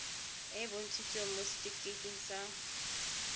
e bontshitsweng mo setifikeiting sa